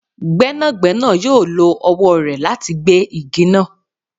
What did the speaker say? Gbẹnagbẹna yoo lo ọwọ rẹ lati gbe igi naa